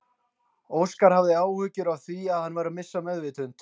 Óskar hafði áhyggjur af því að hann væri að missa meðvitund.